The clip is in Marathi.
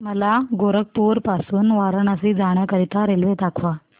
मला गोरखपुर पासून वाराणसी जाण्या करीता रेल्वे दाखवा